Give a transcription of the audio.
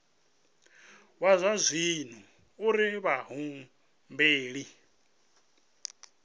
wa zwa dzinnu uri vhahumbeli